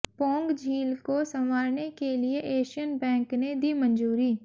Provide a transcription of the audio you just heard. पौंग झील को संवारने के लिए एशियन बैंक ने दी मंजूरी